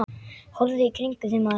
Horfðu í kringum þig, maður.